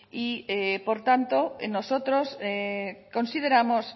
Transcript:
y por tanto nosotros consideramos